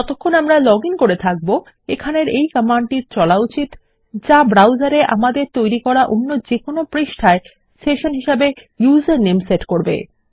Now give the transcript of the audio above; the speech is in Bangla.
যতক্ষণ আমরা লগইন করে থাকব এখানের এই কমান্ডটির চলা উচিত যা ব্রাউসার এ আমাদের সেশন আমাদের তৈরী করা অন্য যেকোনো পৃষ্ঠার ইউজারনেম এ সেট করবে